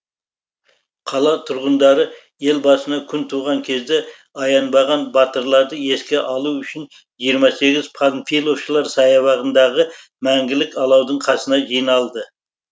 қала тұрғындары ел басына күн туған кезде аянбаған батырларды еске алу үшін жиырма сегіз панфиловшылар саябағындағы мәңгілік алаудың қасына жиналды